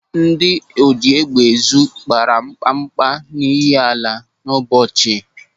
Ndị ojiégbèézùohi kpara mkpakpa n'Ihiala n'Ụbọchị.